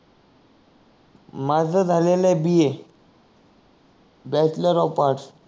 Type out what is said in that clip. माझ झालेले आहे B A bachelor of arts